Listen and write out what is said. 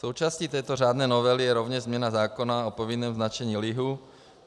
Součástí této řádné novely je rovněž změna zákona o povinném značení lihu.